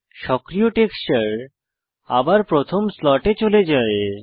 সক্রিয় টেক্সচার আবার প্রথম স্লটে চলে যায়